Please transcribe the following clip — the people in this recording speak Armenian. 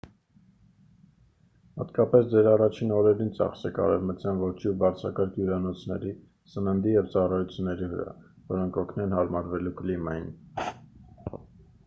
հատկապես ձեր առաջին օրերին ծախսեք արևմտյան ոճի ու բարձրակարգ հյուրանոցների սննդի և ծառայությունների վրա որոնք կօգնեն հարմարվելու կլիմային